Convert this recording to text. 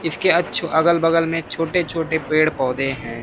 इसके अच्छो अगल बगल में छोटे छोटे पेड़ पौधे हैं।